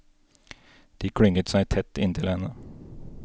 De klynget seg tett inntil henne.